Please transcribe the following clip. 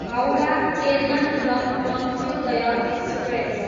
Howrah, Ernakulam Antyodaya express